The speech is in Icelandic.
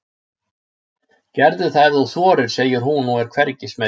Gerðu það ef þú þorir, segir hún og er hvergi smeyk.